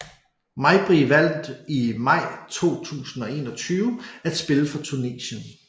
Mejbri valgte i maj 2021 at spille for Tunesien